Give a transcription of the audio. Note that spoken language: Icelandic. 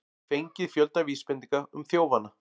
Fengið fjölda vísbendinga um þjófana